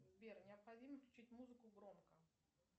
сбер необходимо включить музыку громко